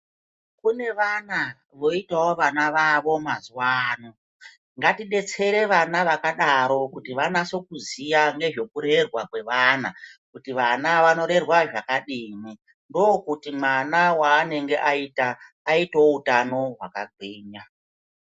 Kune vana voitawo vana vavo mazuva ano ngati detsere vana vakadaro kuti vanase kuziya ngezveku rerwa kwe vana kuti vana vano rerwa zvakadini ndokuti mwana waenenge ayita aitewo utano hwaka gwinya.